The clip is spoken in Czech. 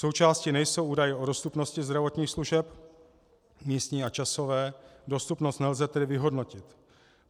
Součástí nejsou údaje o dostupnosti zdravotních služeb, místní a časové, dostupnost nelze tedy vyhodnotit.